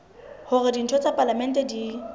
hore ditho tsa palamente di